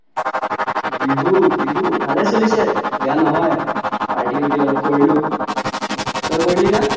বিহু বিহু ভালে চলিছে বেয়া নহয় party উৰ্তি অলপ কৰিলো তই কৰিলি না